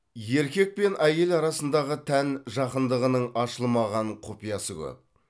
еркек пен әйел арасындағы тән жақындығының ашылмаған құпиясы көп